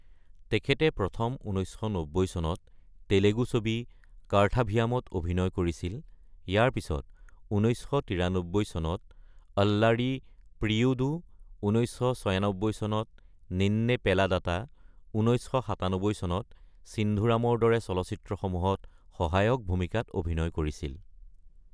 তেখেতে প্ৰথমে ১৯৯০ চনত তেলেগু ছবি কাৰ্থাভিয়ামত অভিনয় কৰিছিল। ইয়াৰ পিছত ১৯৯৩ চনত অল্লাৰি প্ৰিয়ুডু, ১৯৯৬ চনত নিন্নে পেলাডাটা, ১৯৯৭ চনত ছিন্ধুৰামৰ দৰে চলচিত্ৰসমূহত সহায়ক ভূমিকাত অভিনয় কৰিছিল।